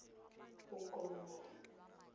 bokgoni